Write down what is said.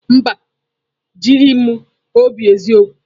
Mba, o jighị m obi eziokwu.